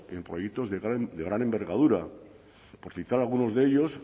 en proyectos de gran envergadura por citar algunos de ellos